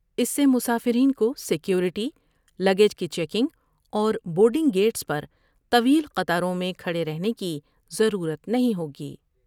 اس سے مسافرین کو سیکوریٹی ، لگیج کی چیکنگ اور بورڈ نگ گیٹس پر طویل قطاروں میں کھڑے رہنے کی ضرورت نہیں ہوگی ۔